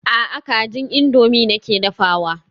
A'a kajin indomie nake dafawa.